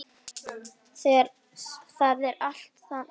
Það er allt þaggað niður.